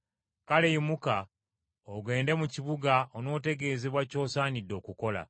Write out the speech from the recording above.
Kale yimuka ogende mu kibuga onootegeezebwa ky’osaanidde okukola.”